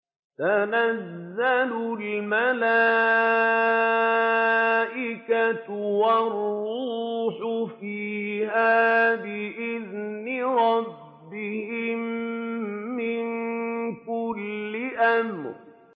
تَنَزَّلُ الْمَلَائِكَةُ وَالرُّوحُ فِيهَا بِإِذْنِ رَبِّهِم مِّن كُلِّ أَمْرٍ